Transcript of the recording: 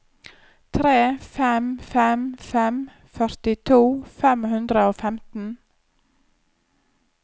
tre fem fem fem førtito fem hundre og femten